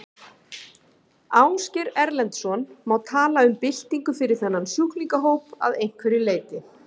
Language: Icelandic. Ásgeir Erlendsson: Má tala um byltingu fyrir þennan sjúklingahóp að einhverju leyti?